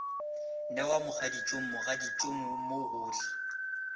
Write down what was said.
newa mogaditšong mogaditšong mo gohle